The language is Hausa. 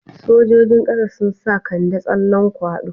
Sojojin ƙasa sun sa Kande tsallan kwaɗo.